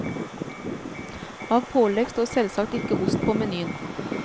Av pålegg står selvsagt ikke ost på menyen.